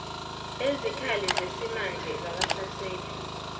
ezikhali zesimanje zabahlaseli